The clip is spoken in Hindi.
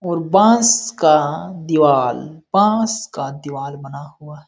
और बांस का दिवाल बांस का दिवाल बना हुआ --